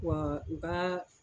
Wa u ka.